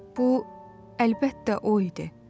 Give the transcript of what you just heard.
Bu, əlbəttə, o idi.